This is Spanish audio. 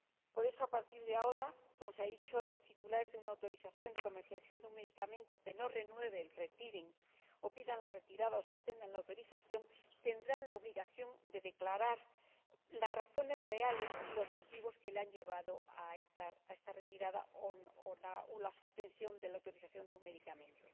Por eso, a partir de ahora, como se ha dicho, los titulares de una autorización de comercialización de un medicamento que no renueven, retiren, o pidan la retirada o suspendan la autorización, tendrán la obligación de declarar las razones reales y los motivos que les han llevado a esta retirada o a la suspensión de la autorización del medicamento.